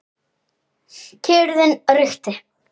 Kyrrðin ríkti.